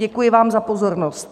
Děkuji vám za pozornost.